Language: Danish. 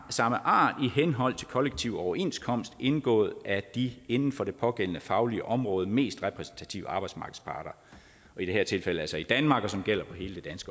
samme art i henhold til i kollektiv overenskomst indgået af de inden for det pågældende faglige område mest repræsentative arbejdsmarkedsparter i det her tilfælde altså i danmark som gælder for hele det